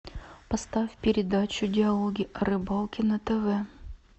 поставь передачу диалоги о рыбалке на тв